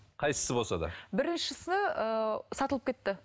қайсысы болса да біріншісі ыыы сатылып кетті